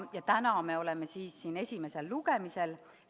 Ja täna me oleme siin esimesel lugemisel.